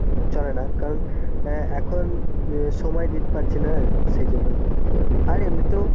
চলে না কারণ এখন সময় দিতে পারছি না সেই জন্য. আর এমনিতেও